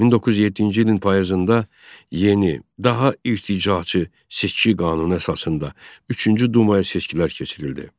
1907-ci ilin payızında yeni, daha irticaçı seçki qanunu əsasında üçüncü dumaya seçkilər keçirildi.